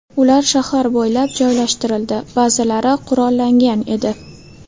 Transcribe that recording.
Ular shahar bo‘ylab joylashtirildi, ba’zilari qurollangan edi.